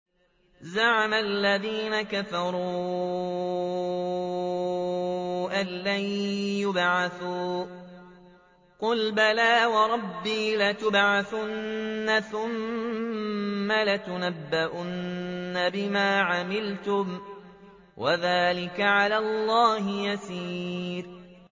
زَعَمَ الَّذِينَ كَفَرُوا أَن لَّن يُبْعَثُوا ۚ قُلْ بَلَىٰ وَرَبِّي لَتُبْعَثُنَّ ثُمَّ لَتُنَبَّؤُنَّ بِمَا عَمِلْتُمْ ۚ وَذَٰلِكَ عَلَى اللَّهِ يَسِيرٌ